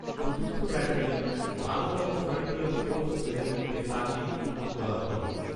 চতুর্থ ব্যাটালিয়ন, বারোতম frontier force রেজিমেন্টে তাঁকে নিযুক্ত করা হয়।